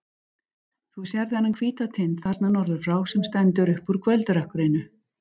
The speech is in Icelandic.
Þú sérð þennan hvíta tind þarna norður frá, sem stendur upp úr kvöldrökkrinu.